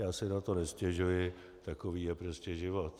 Já si na to nestěžuji, takový je prostě život.